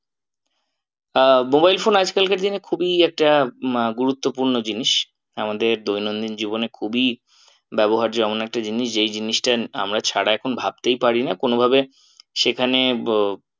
আহ mobile phone আজ কালকার দিনে খুবই একটা আহ গুরুত্বপূর্ণ জিনিস আমাদের দৈনন্দিন জীবনে খুবই ব্যবহার্য্য এমন একটা জিনিস যেই জিনিসটা আমরা ছাড়া এখন ভাবতেই পারি না কোনো ভাবে সেখানে